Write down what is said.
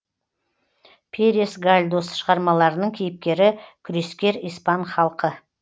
перес гальдос шығармаларының кейіпкері күрескер испан халқы